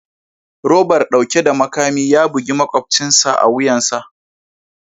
Robar dauke da makami ya bugi makwabcina a wuyansa